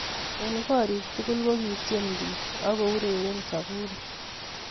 Eng koriik tugul ko kityeen piik akoureeen saburii